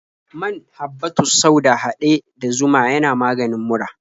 Man habbatus sauda haɗe da zuma yana maganin mura.